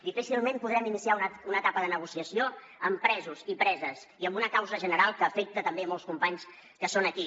difícilment podrem iniciar una etapa de negociació amb presos i preses i amb una causa general que afecta també molts companys que són aquí